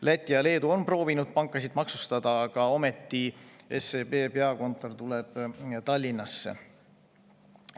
Läti ja Leedu on proovinud pankasid maksustada, aga ometi tuleb SEB peakontor Tallinnasse.